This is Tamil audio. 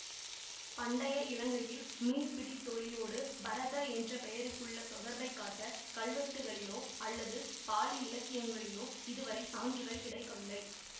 பண்டைய இலங்கையில் மீன்பிடி தொழிலோடு பரத என்ற பெயருக்குள்ள தொடர்பைக் காட்ட கல்வெட்டுக்களிலோ அல்லது பாளி இலக்கியங்களிலோ இதுவரை சான்றுகள் கிடைக்கவில்லை